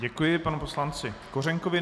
Děkuji panu poslanci Kořenkovi.